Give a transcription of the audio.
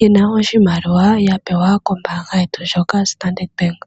ye na oshimaliwa ya pewa kombaanga yetu ndjoka yoStandard Bank.